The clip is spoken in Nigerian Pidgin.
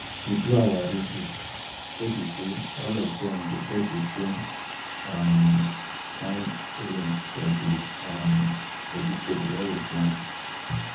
we do our ridges we be say all of them go get the same um kind rain for the um vegetable wey we plant